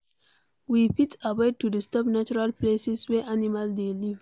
We fit avoid to disturb natural places wey animals dey live